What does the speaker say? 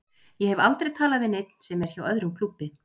Ég hef aldrei talað við neinn sem er hjá öðrum klúbbi.